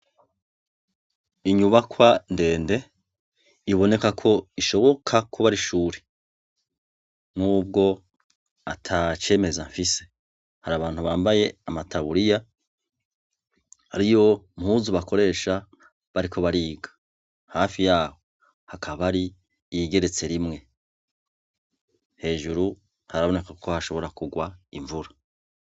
Inyubakwa ndende, iboneka ko ishoboka ko ari ishure n'ubwo atacemeza mfise, har'abantu bambaye amataburiya ariyo mpuzu bakoresha bariko bariga, hafi yaho hakaba hari iyigeretse rimwe, hejuru haraboneka ko hashobora kugwa imvura.